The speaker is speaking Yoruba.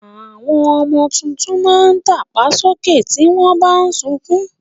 Àwọn ọmọ tuntun máa ń tàpá sókè tí wọn bà ń sunkún